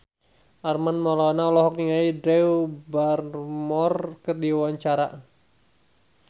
Armand Maulana olohok ningali Drew Barrymore keur diwawancara